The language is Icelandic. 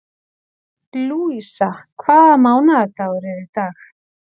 Lúísa, hvaða mánaðardagur er í dag?